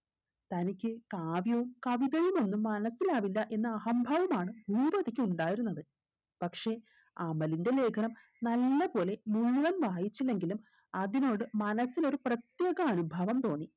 തനിക്ക് കാവ്യവും കവിതയുമൊന്നും മനസിലാവില്ല എന്ന അഹംഭാവമാണ് ഭൂപതിക്ക് ഉണ്ടായിരുന്നത് പക്ഷെ അമലിന്റെ ലേഖനം നല്ല പോലെ മുഴുവൻ വായിച്ചില്ലെങ്കിലും അതിനോട് മനസ്സിൽ ഒരു പ്രത്യേക അനുഭാവം തോന്നി